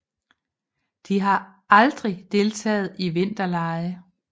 De har aldrig deltaget i vinterlege